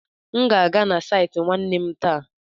M ga-aga na saịtị nwanne m taa.